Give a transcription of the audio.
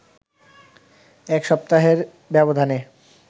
এক সপ্তাহের ব্যবধানে